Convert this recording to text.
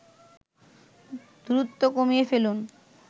দূরত্ব কমিয়ে ফেলুন